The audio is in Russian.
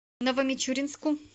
новомичуринску